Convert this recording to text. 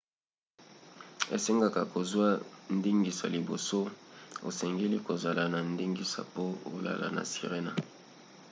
esengaka kozwa ndingisa liboso. osengeli kozala na ndingisa po olala na sirena